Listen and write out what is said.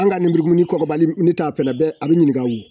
An ka nin burukumu kɔgɔbali n bitaa fɛ a bɛɛ a bɛ ɲininka